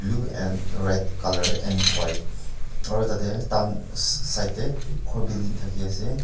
blue and red colour and white aro tatae tahan side tae khor building thaki ase.